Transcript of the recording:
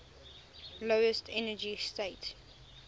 lowest energy state